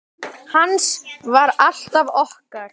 Hans var alltaf okkar.